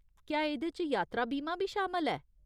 क्या एह्दे च यात्रा बीमा बी शामल ऐ ?